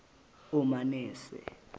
omanese